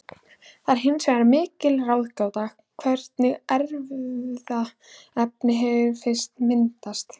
Það er hins vegar mikil ráðgáta hvernig erfðaefni hefur fyrst myndast.